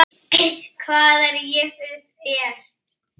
Hvað er ég fyrir þér?